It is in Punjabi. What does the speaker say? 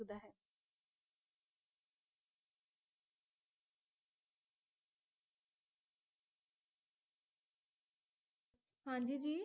ਹਾਂਜੀ ਜੀ